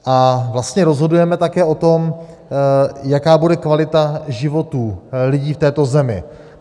A vlastně rozhodujeme také o tom, jaká bude kvalita životů lidí v této zemi.